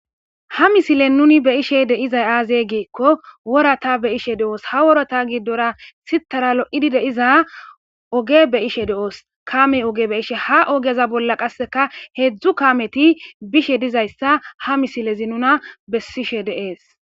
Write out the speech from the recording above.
Ha misilen nuuni be'ishe de'zay aaze giikko worata be'ishe de'os. Ha worata giddora sittaara lo''idi de'iza oge be'ishe de'os kaame oge be'ishe ha ogeza bolla qasseka hedzdzu kaameti bishe dizayssa ha misilezi nuna bessishe de'es.